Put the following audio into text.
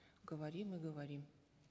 говорим и говорим